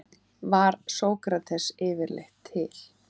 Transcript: Var Sókrates yfirleitt til?